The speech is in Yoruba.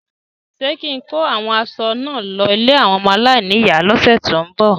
Ṣé kín-in kó àwọn aṣọ náà lọ ilé àwọn ọmọ aláìníyàá lọ́sẹ ti n bọ?